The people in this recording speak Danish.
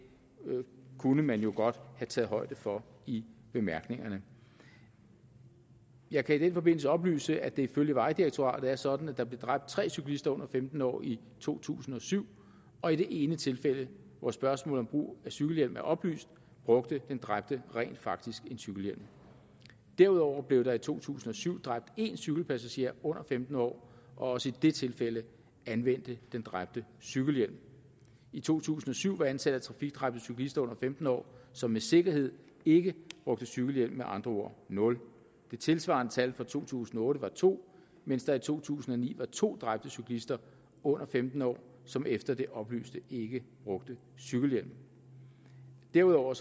kunne man jo godt have taget højde for i bemærkningerne jeg kan i den forbindelse oplyse at det ifølge vejdirektoratet er sådan at der blev dræbt tre cyklister under femten år i to tusind og syv og i det ene tilfælde hvor spørgsmålet om brug af cykelhjelm er oplyst brugte den dræbte rent faktisk cykelhjelm derudover blev der i to tusind og syv dræbt én cykelpassager under femten år og også i det tilfælde anvendte den dræbte cykelhjelm i to tusind og syv var antallet af trafikdræbte cyklister under femten år som med sikkerhed ikke brugte cykelhjelm med andre ord nul det tilsvarende tal for to tusind og otte var to mens der i to tusind og ni var to dræbte cyklister under femten år som efter det oplyste ikke brugte cykelhjelm derudover